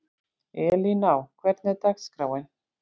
Elíná, hvernig er dagskráin?